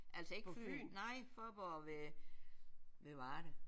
Altså ikke Fyn nej Fåborg ved ved Varde